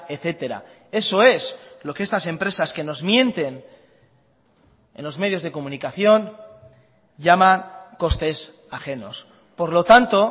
etcétera eso es lo que estas empresas que nos mienten en los medios de comunicación llaman costes ajenos por lo tanto